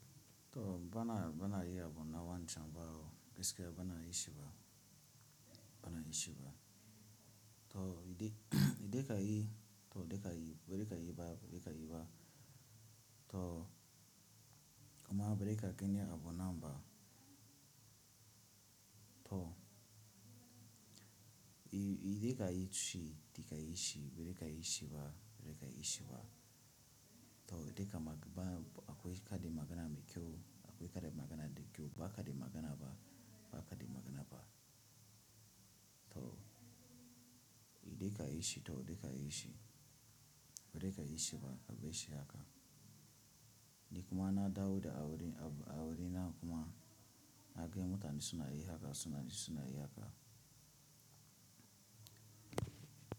To bana bana yi yabo nawa nchamba o, bas ka bana yi shi ba, bana yi shi ba. To idi, idika yi to idika yi, buri ka yi ba buri ka yi ba. To kuma bari ka gani abu ana ba to i-idika yi shi, dika yi shi, bari ka yi shi ba, bari ka yi shi ba. To idika ma ba akwai kadi magana mai kyau, akwai kadi magana da kyau, ba kadi magana ba, ba kadi magana ba. To idika yi shi to idika yi shi, bari ka yi shi ba, ka bai shi haka. Ni kuma na dawo da a wurin abu a wurin nan kuma na ga mutane suna yi haka suna suna yi haka.